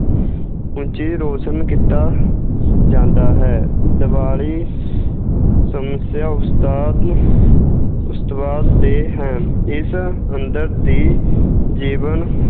ਰੋਸ਼ਨ ਕੀਤਾ ਜਾਂਦਾ ਹੈ, ਦਿਵਾਲੀ ਦੇ ਹੈ, ਇਸ ਅੰਦਰ ਦੀ ਜੀਵਨ